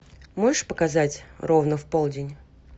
можешь показать ровно в полдень